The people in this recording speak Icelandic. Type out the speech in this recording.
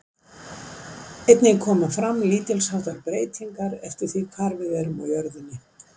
Einnig koma fram lítils háttar breytingar eftir því hvar við erum á jörðinni.